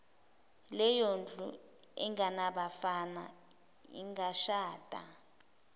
leyondlu engenabafana ingashada